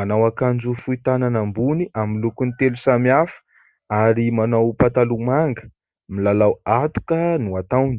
Manao akanjo fohy tanana ambony amin'ny lokony telo samihafa ary manao pataloha manga. Milalao atoka no ataony.